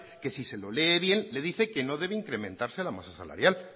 que si se lo lee bien le dice que no debe incrementarse la masa salarial